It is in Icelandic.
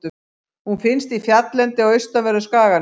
Hún finnst í fjalllendi á austanverðum skaganum.